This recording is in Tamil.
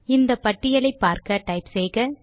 இந்த பட்டியலை பார்க்க டைப் செய்க